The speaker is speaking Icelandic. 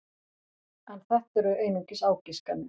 En þetta eru einungis ágiskanir.